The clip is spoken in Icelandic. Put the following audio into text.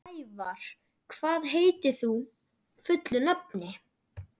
Snævar, hvað heitir þú fullu nafni?